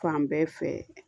Fan bɛɛ fɛ